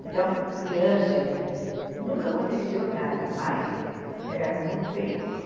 Então, com criança, nunca aconteceu nada, mas era muito perigoso.